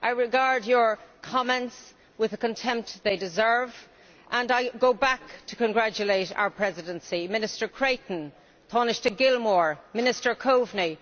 I regard her comments with the contempt they deserve, and I go back to congratulate our Presidency Minister Creighton, Tánaiste Eamon Gilmore, Minister Coveney.